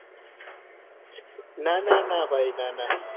ના ના ના ભાઈ ના ના